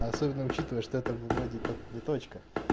особенно учитывая что это вроде как ни точка